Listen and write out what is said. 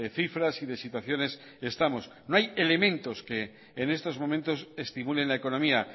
cifras y de situaciones estamos no hay elementos que en estos momentos estimulen la economía